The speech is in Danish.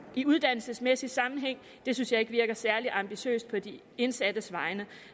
i uddannelsesmæssig sammenhæng det synes jeg ikke virker særlig ambitiøst på de indsattes vegne